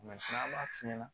an b'a f'i ɲɛna